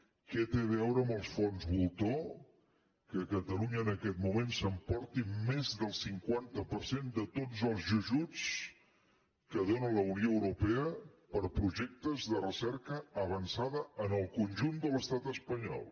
què té a veure amb els fons voltor que catalunya en aquest moment s’emporti més del cinquanta per cent de tots els ajuts que dóna la unió europea per a projectes de recerca avançada en el conjunt de l’estat espanyol